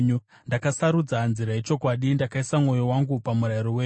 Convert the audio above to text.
Ndakasarudza nzira yechokwadi; ndakaisa mwoyo wangu pamurayiro wenyu.